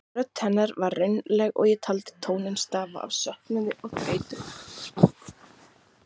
Rödd hennar var raunaleg og ég taldi tóninn stafa af söknuði og þreytu.